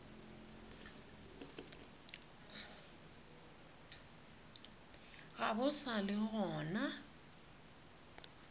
ga bo sa le gona